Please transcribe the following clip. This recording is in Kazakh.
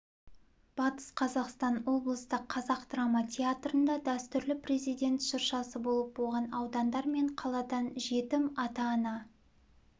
батыс қазақстан облыстық қазақ драма театрында дәстүрлі президент шыршасы болып оған аудандар мен қаладан жетім ата-ана